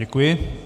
Děkuji.